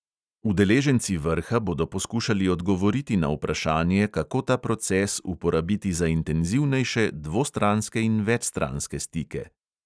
Udeleženci vrha bodo poskušali odgovoriti na vprašanje, kako ta proces uporabiti za intenzivnejše dvostranske in večstranske stike.